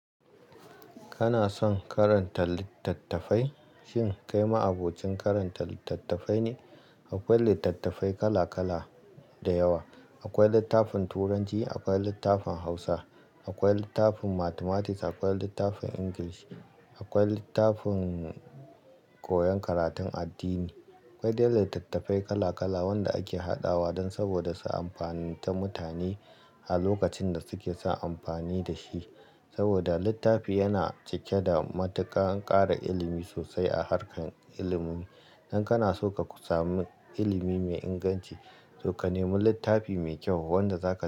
Kana son karanta litattafai? Shin kai ma abokin karanta litattafai ne? Akwai litattafai kala-kala da yawa. Akwai littafin Turanci, akwai littafin Hausa, akwai littafin Mathematics, akwai littafin English, akwai littafin koyon karatun addini. Akwai da yawa litattafai kala-kala, wanda ake hadawa dan saboda su amfaninta mutane a lokacin da suke son amfani da shi. Saboda, littafi yana cike da matuƙan ƙara ilimi sosai a harkar ilimi. Idan kana so ka sami ilimi mai inganci, to ka nemi littafi mai kyau wanda zaka-